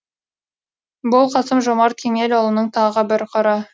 бұл қасым жомарт кемелұлының тағы бір қыры